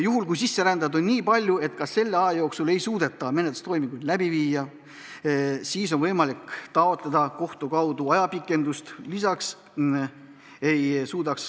Juhul kui sisserändajaid on nii palju, et ka selle aja jooksul ei suudeta menetlustoiminguid läbi viia, siis on võimalik taotleda kohtu kaudu ajapikendust.